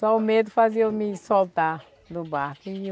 Só o medo fazia eu me soltar do barco e eu